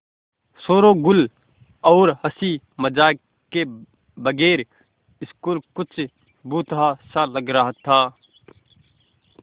शोरोगुल और हँसी मज़ाक के बगैर स्कूल कुछ भुतहा सा लग रहा था